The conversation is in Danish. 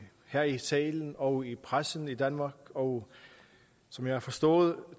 her i salen og i pressen i danmark og som jeg har forstået